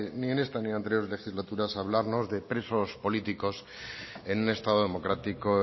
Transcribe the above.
ni en esta ni en anteriores legislaturas a hablarnos de presos políticos en un estado democrático